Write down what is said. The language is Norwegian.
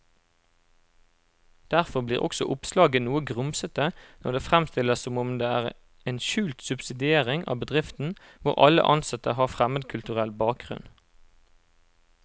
Derfor blir også oppslaget noe grumsete når det fremstilles som om det er en skjult subsidiering av bedriften hvor alle ansatte har fremmedkulturell bakgrunn.